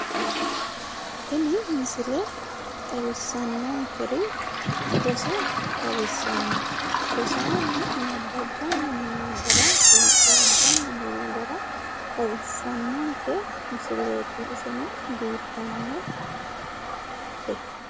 Tini misile xawissannonkeri roso xawissanno, rosaano nabbabbanni no gara xinxabbanni no gara xawissannoke misileeti iseno biiffannote